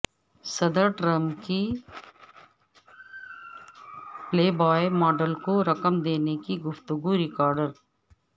صدر ٹرمپ کی Playboy model کو رقم دینے کی گفتگو ریکارڈ